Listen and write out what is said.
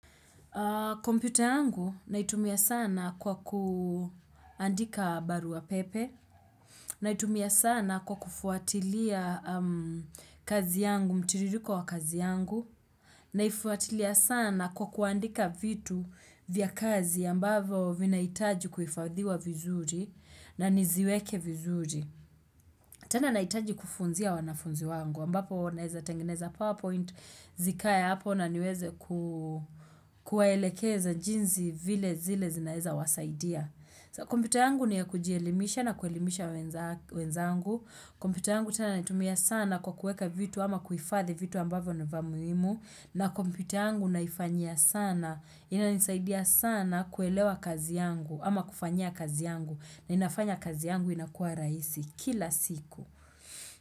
Kompyuta yangu naitumia sana kwa kuandika barua pepe, naitumia sana kwa kufuatilia kazi yangu mtiririko wa kazi yangu, naifuatilia sana kwa kuandika vitu vya kazi ambavo vinahitaji kuhifadhiwa vizuri na niziweke vizuri. Tena nahitaji kufunzia wanafunzi wangu, ambapo naeza tengeneza PowerPoint, zikae hapo na niweze kuwaelekeza jinsi vile zile zinaeza wasaidia. Kompyuta yangu ni ya kujielimisha na kuelimisha wenzangu. Kompyuta yangu tena naitumia sana kwa kuweka vitu ama kuhifadhi vitu ambavyo ni vya muhimu. Na kompyuta yangu naifanyia sana, inanisaidia sana kuelewa kazi yangu ama kufanyia kazi yangu na inafanya kazi yangu inakua rahisi. Kila siku.